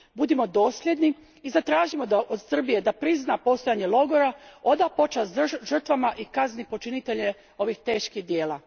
Budimo dosljedni i zatražimo od Srbije da prizna postojanje logora, oda počast žrtvama i kazni počinitelje ovih teških djela.